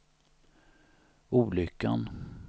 olyckan